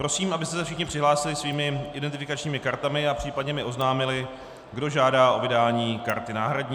Prosím, abyste se všichni přihlásili svými identifikačními kartami a případně mi oznámili, kdo žádá o vydání karty náhradní.